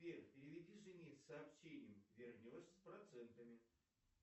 сбер переведи жене с сообщением вернешь с процентами